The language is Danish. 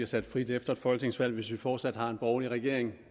sat fri efter et folketingsvalg hvis vi fortsat har en borgerlig regering